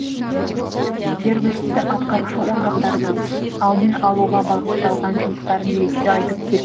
жергілікті атқарушы органдардың алдын алуға бағытталған жұмыстарын ерекше айтып кету керек